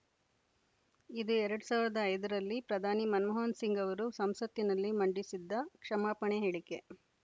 ಇದು ಎರಡ್ ಸಾವಿರದ ಐದರಲ್ಲಿ ಪ್ರಧಾನಿ ಮನಮೋಹನ ಸಿಂಗ್‌ ಅವರು ಸಂಸತ್ತಿನಲ್ಲಿ ಮಂಡಿಸಿದ್ದ ಕ್ಷಮಾಪಣೆ ಹೇಳಿಕೆ